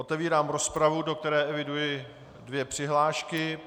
Otevírám rozpravu, do které eviduji dvě přihlášky.